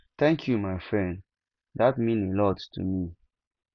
thank you my friend dat mean a lot to me